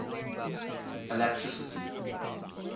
alatricity